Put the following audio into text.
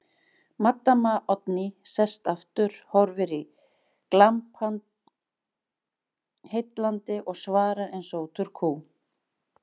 Maddama Oddný sest aftur, horfir í glampann heillandi og svarar eins og út úr kú